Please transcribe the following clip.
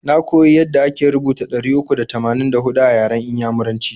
Na koya yada ake rubuta ɗari uku da tamanin da huɗu a yaran inyamuraci.